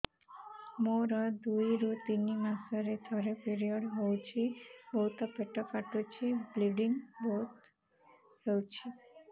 ମୋର ଦୁଇରୁ ତିନି ମାସରେ ଥରେ ପିରିଅଡ଼ ହଉଛି ବହୁତ ପେଟ କାଟୁଛି ବ୍ଲିଡ଼ିଙ୍ଗ ବହୁତ ହଉଛି